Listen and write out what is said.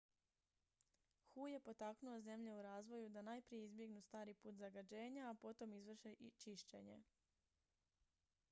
"hu je potaknuo zemlje u razvoju "da najprije izbjegnu stari put zagađenja a potom izvrše čišćenje"".